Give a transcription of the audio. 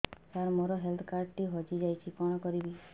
ସାର ମୋର health card ଟି ହଜି ଯାଇଛି କଣ କରିବି